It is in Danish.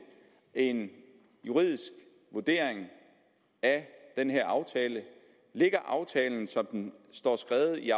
en juridisk vurdering af den her aftale ligger aftalen som den står skrevet i